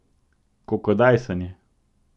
Kokodajsanje.